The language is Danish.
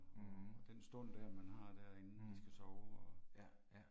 Mh. Mh. Ja, ja